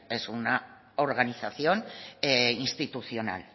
es una organización institucional